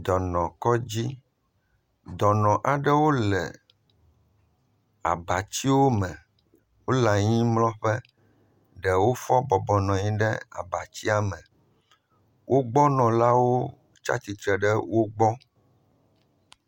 Dɔnɔkɔdzi. Dɔnɔ aɖewo le abatsiwo me. Wo le anyimlɔƒe. Ɖewo fɔ bɔbɔnɔ anyi ɖe abatsia me. Wogbɔnɔlawo tsi atsitre ɖe wo gbɔ.